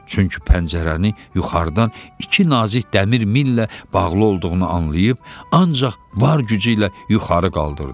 Çünki pəncərəni yuxarıdan iki nazik dəmir millə bağlı olduğunu anlayıb, ancaq var gücü ilə yuxarı qaldırdı.